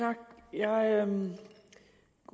der er en